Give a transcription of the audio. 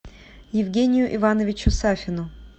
евгению ивановичу сафину